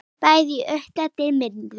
Bæði í uppeldi og vinnu.